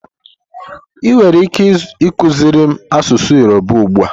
Ị nwere ike ịkụziri m asụsụ Yoruba ugbu a?